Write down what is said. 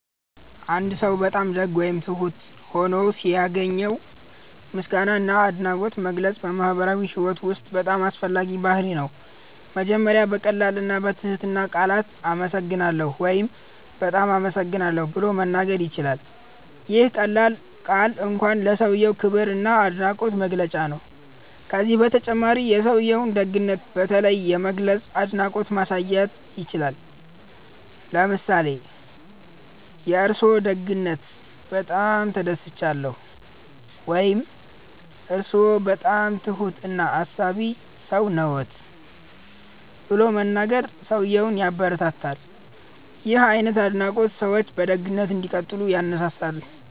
አንድ ሰው በጣም ደግ ወይም ትሁት ሆኖ ሲያገኘው ምስጋና እና አድናቆት መግለጽ በማህበራዊ ህይወት ውስጥ በጣም አስፈላጊ ባህርይ ነው። መጀመሪያ በቀላል እና በትህትና ቃላት “እናመሰግናለን” ወይም “በጣም አመሰግናለሁ” ብሎ መናገር ይቻላል። ይህ ቀላል ቃል እንኳን ለሰውዬው ክብር እና አድናቆት መግለጫ ነው። ከዚህ በተጨማሪ የሰውዬውን ደግነት በተለይ በመግለጽ አድናቆት ማሳየት ይቻላል። ለምሳሌ “የእርስዎ ደግነት በጣም ተደስቻለሁ” ወይም “እርስዎ በጣም ትሁት እና አሳቢ ሰው ነዎት” ብሎ መናገር ሰውዬውን ያበረታታል። ይህ አይነት አድናቆት ሰዎች በደግነት እንዲቀጥሉ ያነሳሳል።